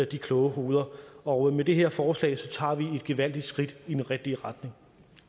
de kloge hoveder og med det her forslag tager vi et gevaldigt skridt i den rigtige retning